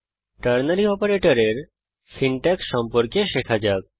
ternary অপারেটরের syntax সম্পর্কে শেখা যাক